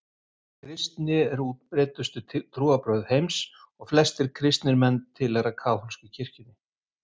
kristni er útbreiddustu trúarbrögð heims og flestir kristnir menn tilheyra kaþólsku kirkjunni